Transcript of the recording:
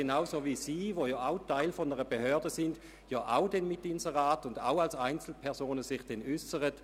Genauso können Sie, die Sie auch Teil einer Behörde sind, sich im Abstimmungskampf etwa mittels Inseraten äussern.